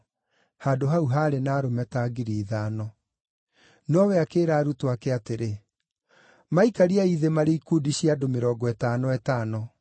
(Handũ hau haarĩ na arũme ta ngiri ithano.) Nowe akĩĩra arutwo ake atĩrĩ, “Maikariei thĩ marĩ ikundi cia andũ mĩrongo ĩtano ĩtano.”